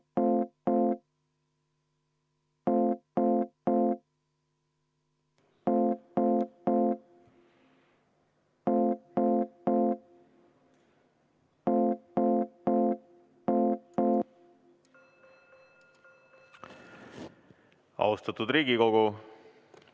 V a h e a e g Austatud Riigikogu!